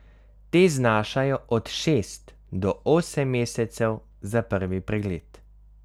Te znašajo od šest do osem mesecev za prvi pregled.